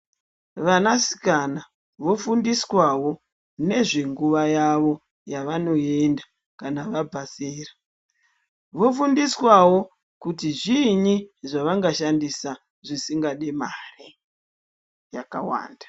Vana sikana vofundiswawo nezvenguwa yawo yavanoenda kana vabva zera vofundiswawo kuti zvinyi zvavanga shandisa zvisingandi mare yakawanda.